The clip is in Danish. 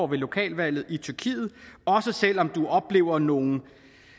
med lokalvalget i tyrkiet også selv om man oplever nogle